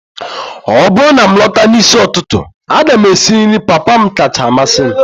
ọ bụrụ na m lọta n'isi ụtụtụ, a ga m esi nri papa m kacha amasị m